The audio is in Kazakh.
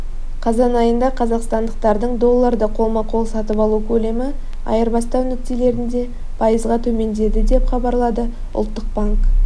қазан айында қазақстандықтардың долларды қолма-қол сатып алу көлемі айырбастау нүктелерінде пайызға төмендеді деп хабарлады ұлттық банк